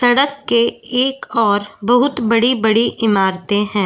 सड़क के एक और बहुत बड़ी-बड़ी इमारतें हैं।